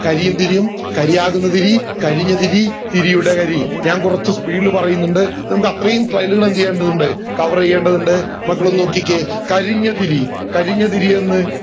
കരിയും തിരിയും കാരിയാകുന്ന തിരി കരിഞ്ഞ തിരി തിരിയുടെ കരി ഞാൻ കൊറച്ചു speed ല് പറയുന്നുണ്ട് നമക് അത്രയും file ലുകൾ എന്ത് ചെയ്യേണ്ടതുണ്ട് cover ചെയ്യേണ്ടതുണ്ട് മക്കളൊന്നു നോക്കിക്കേ കരിഞ്ഞ തിരി കരിഞ്ഞ തിരിയെന്ന്